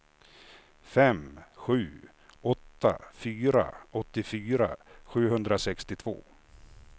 fem sju åtta fyra åttiofyra sjuhundrasextiotvå